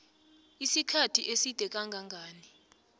isikhathi eside kangangani